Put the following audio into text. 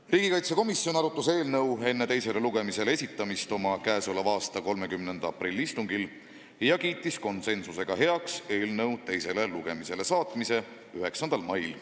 Riigikaitsekomisjon arutas eelnõu enne teisele lugemisele esitamist oma 30. aprilli istungil ja kiitis konsensusega heaks eelnõu teisele lugemisele saatmise 9. maiks.